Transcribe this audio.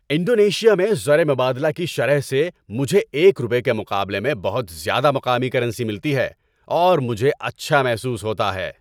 Indonesia میں زر مبادلہ کی شرح سے مجھے ایک روپے کے مقابلے میں بہت زیادہ مقامی کرنسی ملتی ہے اور مجھے اچھا محسوس ہوتا ہے۔